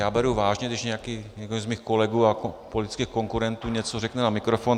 Já beru vážně, když někdo z mých kolegů a politických konkurentů něco řekne na mikrofon.